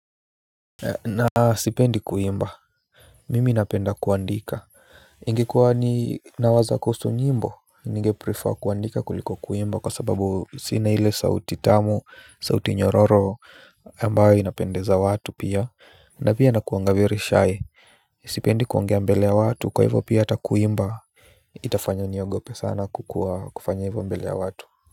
Na sipendi kuimba. Mimi napenda kuandika. Ingekuwa ninawaza kuhusu nyimbo, ninge prefer kuandika kuliko kuimba kwa sababu sina ile sauti tamu sauti nyororo ambayo inapendeza watu pia na pia nakuanga very shy. Sipendi kuongea mbele ya watu kwa hivyo pia hata kuimba. Itafanya niogope sana kufanya hivyo mbele ya watu.